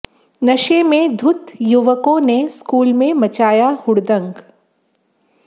नशे में धुत्त युवकों ने स्कूल में मचाया हुड़दंग